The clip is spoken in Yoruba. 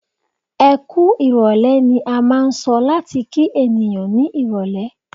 "Ẹkú ìrọ̀lẹ́" ni a máà ń sọ láti kí ènìyàn ní irọ̀lẹ́.